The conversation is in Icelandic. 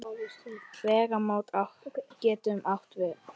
Vegamót getur átt við um